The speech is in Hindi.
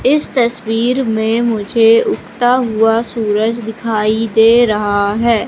इस तस्वीर में मुझे उगता हुआ सूरज दिखाई दे रहा है।